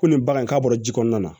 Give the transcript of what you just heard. Ko nin bagan in k'a bɔra ji kɔnɔna na